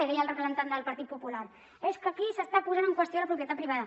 i deia el representant del partit popular és que aquí s’està posant en qüestió la propietat privada